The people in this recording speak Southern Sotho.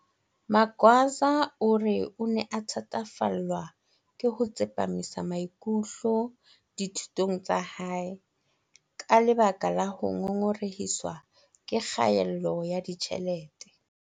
Magwaza o re o ne a thatafallwa ke ho tsepamisa maikutlo dithu tong tsa hae ka lebaka la ho ngongorehiswa ke kgaello ya ditjhelete.